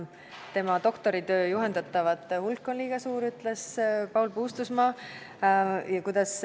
Tema doktoritöö juhendatavate hulk olevat liiga suur, ütles Paul Puustusmaa.